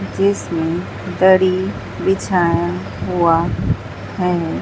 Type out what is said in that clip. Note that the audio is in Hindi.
जीसमें दरी बिछाया हुआ है।